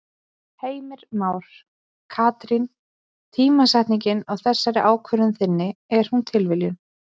Heimir Már: Katrín tímasetningin á þessari ákvörðun þinni, er hún tilviljun?